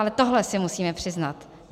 Ale tohle si musíme přiznat.